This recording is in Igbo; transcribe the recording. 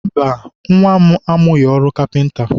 mba, nwa m amụghị ọrụ kapịnta.